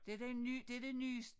Det den nye det det nyes